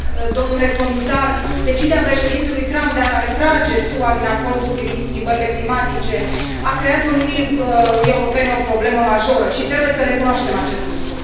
domnule comisar, decizia președintelui Trump de a retrage SUA din Acordul privind schimbările climatice i a creat Uniunii Europene o problemă majoră și trebuie să recunoaștem acest lucru.